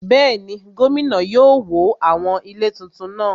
Bẹ́ẹ̀ni, gómìnà yóò wó àwọn ilé tuntun náà